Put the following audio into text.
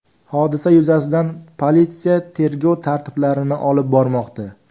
Hodisa yuzasidan politsiya tergov tadbirlarini olib bormoqda.